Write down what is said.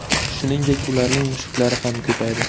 Shuningdek, ularning mushaklari ham ko‘paydi.